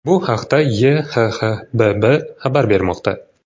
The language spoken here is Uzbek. Bu haqda YHXBB xabar bermoqda .